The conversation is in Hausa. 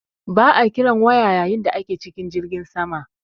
Ba'a kiran waya yayin da ake cikin jirgin sama.